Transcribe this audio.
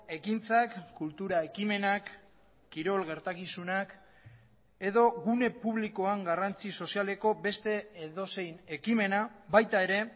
ekintzak kultura ekimenak kirol gertakizunak edo gune publikoan garrantzi sozialeko beste edozein ekimena baita ere